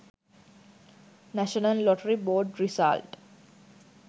national lottery board result